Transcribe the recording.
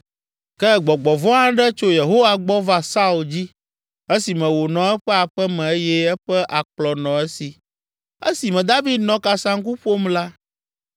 Ke gbɔgbɔ vɔ̃ aɖe tso Yehowa gbɔ va Saul dzi, esime wònɔ eƒe aƒe me eye eƒe akplɔ nɔ esi. Esime David nɔ kasaŋku ƒom la.